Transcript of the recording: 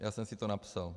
Já jsem si to napsal.